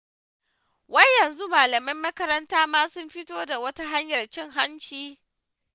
Wai yanzu malaman makaranta ma sun fito da wata hanyar cin hanci?